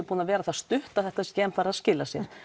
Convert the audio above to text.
búin að vera það stutt að þetta sé ekki enn farið að skila sér